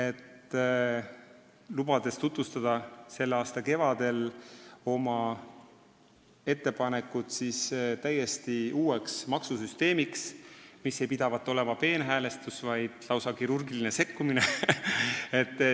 Ta lubas selle aasta kevadel tutvustada oma täiesti uue maksusüsteemi ettepanekut, mis ei pidavat olema peenhäälestus, vaid lausa kirurgiline sekkumine.